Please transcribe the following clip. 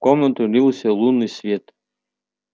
в комнату лился лунный свет